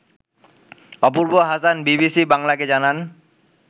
অপূর্ব Hasan BBC বাংলাকে জানান